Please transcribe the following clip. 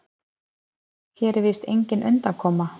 Hér er víst engin undankoma.